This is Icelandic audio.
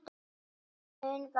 Líf sem mun vara.